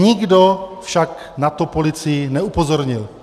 Nikdo však na to policii neupozornil.